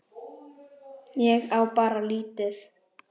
Ég á bara lítið.